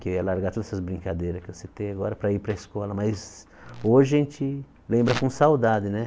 Que eu ia largar todas essas brincadeiras que eu citei agora para ir para a escola, mas hoje a gente lembra com saudade, né?